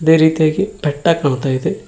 ಅದೇ ರೀತಿಯಾಗಿ ಬೆಟ್ಟ ಕಾಣ್ತಾ ಇದೆ.